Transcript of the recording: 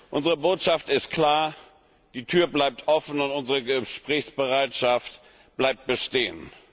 Unsere Botschaft ist klar Die Tür bleibt offen, und unsere Gesprächsbereitschaft bleibt bestehen.